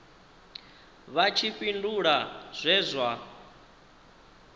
vha tshi fhindula zwe zwa